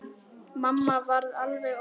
Mamma varð alveg óð.